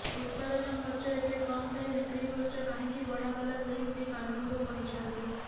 ଉତ୍ପାଦନ ଖର୍ଚ୍ଚ ଏତେ କମ ଥାଇ ବିକ୍ରିଖର୍ଚ୍ଚ କାହିଁକି ବଢ଼ାଗଲା ବୋଲି ଶ୍ରୀ କାନୁନଗୋ କହିଛନ୍ତି